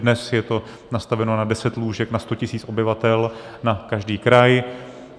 Dnes je to nastaveno na 10 lůžek na 100 tisíc obyvatel na každý kraj.